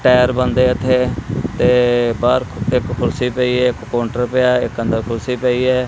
Tyre ਬਨਦੇ ਹੈ ਏੱਥੇ ਤੇ ਬਾਹਰ ਇੱਕ ਕੁਰਸੀ ਪਈ ਹੈ ਇੱਕ ਕੋਂਟਰ ਪਿਆ ਹੈ ਇੱਕ ਅੰਦਰ ਕੁਰਸੀ ਪਈ ਹੈ।